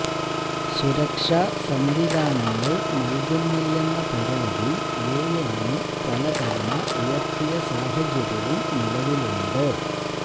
സുരക്ഷാ സംവിധാനങ്ങൾ നൽകുന്നില്ലെന്ന പരാതി യുഎൻഎ പല തവണ ഉയർത്തിയ സാഹചര്യവും നിലവിലുണ്ട്